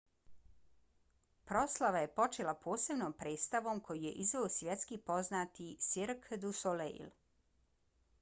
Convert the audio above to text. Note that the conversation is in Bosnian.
proslava je počela posebnom predstavom koju je izveo svjetski poznati cirque du soleil